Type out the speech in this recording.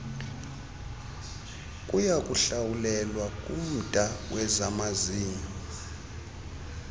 kuyakuhlawulelwa kumda wezamazinyo